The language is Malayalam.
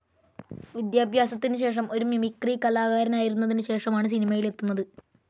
വിദ്യാഭ്യാസത്തിന് ശേഷം ഒരു മിമിക്രി കലാകാരനായിരുന്നതിന് ശേഷമാണ് സിനിമയിലെത്തുന്നത്.